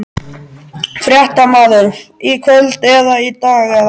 Fréttamaður: Í kvöld eða í dag eða?